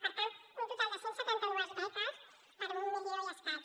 per tant un total de cent i setanta dos beques per un milió i escaig